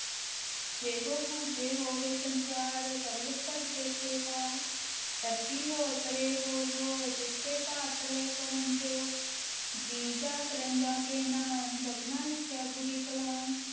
ਜੇ ਕੋ ਬੁਝੈ ਹੋਵੈ ਸਚਿਆਰੁ, ਧਵਲ ਉਪਰਿ ਕੇਤੇ ਭਾਰੁ, ਧਰਤੀ ਹੋਰੁ ਪਰੈ ਹੋਰੁ ਹੋਰੁ, ਤਿਸ ਤੇ ਭਾਰੁ ਤਲੈ ਕਵਣੁ ਜੋਰੁ, ਜੀਅ ਜਾਤਿ ਰੰਗਾ ਕੇ ਨਾਵ, ਸਭਨਾ ਲਿਖਿਆ ਵੁੜੀ ਕਲਾਮ,